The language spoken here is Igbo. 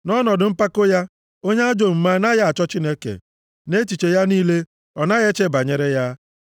Nʼọnọdụ mpako ya, onye ajọ omume anaghị achọ Chineke, nʼechiche ya niile, ọ naghị eche banyere ya.